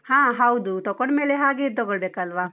ಹಾ ಹೌದು, ತಕೊಂಡ್ಮೇಲೆ ಹಾಗೇದ್‌ ತಕೊಳ್ಬೇಕಲ್ವಾ?